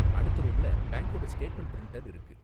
அடுத்த ரூம்ல பேங்க்கோட ஸ்டேட்மெண்ட் பிரிண்டர் இருக்கு.